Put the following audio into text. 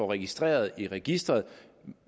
registreret i registret